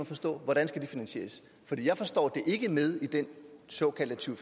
forstå hvordan skal det finansieres for jeg forstår det ikke med i den såkaldte to